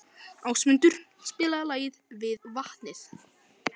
Ásmundur, spilaðu lagið „Við vatnið“.